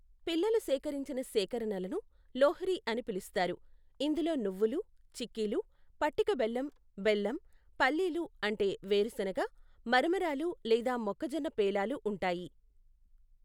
పిల్లలు సేకరించిన సేకరణలను లోహ్రి అని పిలుస్తారు, ఇందులో నువ్వులు, చిక్కీలు, పటిక బెల్లం, బెల్లం, పల్లీలు అంటే వేరుశెనగ , మరమరాలు లేదా మొక్కజొన్న పేలాలు ఉంటాయి.